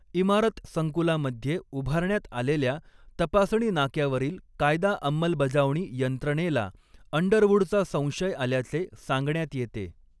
इमारत संकुलामध्ये उभारण्यात आलेल्या तपासणी नाक्यावरील कायदा अंमलबजावणी यंत्रणेला अंडरवूडचा संशय आल्याचे सांगण्यात येते.